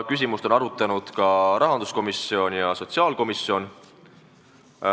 Küsimust on arutanud ka rahanduskomisjon ja sotsiaalkomisjon.